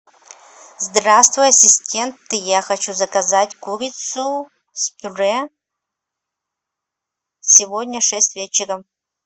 здравствуй ассистент я хочу заказать курицу с пюре сегодня в шесть вечера